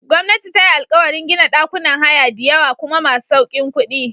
Gwamnati tayi alkawarin gina ɗakunan haya diyawa kuma mai saukin kuɗi.